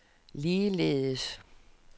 ligeledes